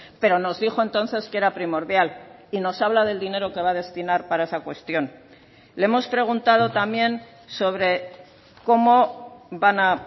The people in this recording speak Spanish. pero nos dijo entonces que era primordial y nos habla del dinero que va a destinar para esa cuestión le hemos preguntado también sobre cómo van a